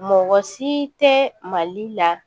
Mɔgɔ si tɛ mali la